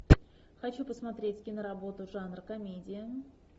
хочу посмотреть киноработу жанр комедия